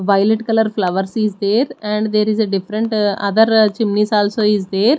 violet colour flowers is there and there is a different uh other chimneys also is there.